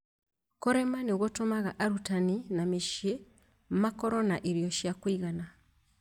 Kũrĩma nĩ gũtũmaga arutani na mĩciĩ makorũo na irio cia kũigana